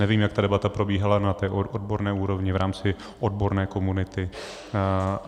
Nevím, jak ta debata probíhala na té odborné úrovni v rámci odborné komunity.